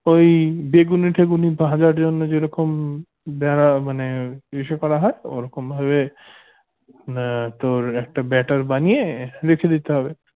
ওই বেগুনি টেগুনি ভাজার জন্য যেরকম মানে ইসে করা হয় ওরকম ভাবে আহ তোর একটা better বানিয়ে রেখে দিতে হবে